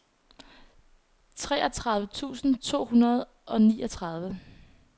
treogtredive tusind to hundrede og niogtredive